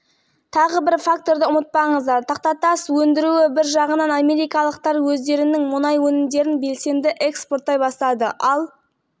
келген мәліметтер бұрғылау қондырғыларының өнімділігін төмендетуге сондай-ақ алдыңғы үрдістердің баяулауына ұңғымаларды бұрғылауға қажетті уақытты айтарлықтай азайтқанын көрсетеді делінген хабарда